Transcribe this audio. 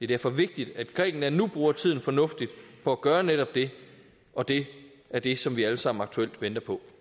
derfor vigtigt at grækenland nu bruger tiden fornuftigt på at gøre netop det og det er det som vi alle sammen aktuelt venter på